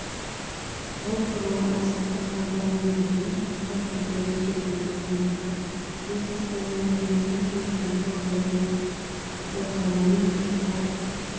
бұл туралы азаттық хабарлайды бүгін қызылордада өтетін байқоңырда бизнес дамуы мүмкін бе саябақ облыс орталығының гектар